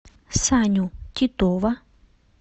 саню титова